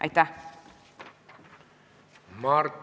Aitäh!